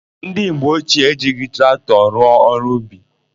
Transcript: Ndị mgbe ochie ejighị traktọ rụọ ọrụ ubi.